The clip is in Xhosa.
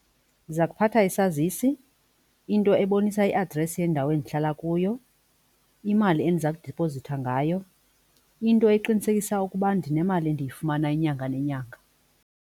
Ndiza kuphatha isazisi, into ebonisa i-address yendawo endihlala kuyo, imali endiza kudipozitha ngayo, into eqinisekisa ukuba ndinemali endiyifumana inyanga nenyanga.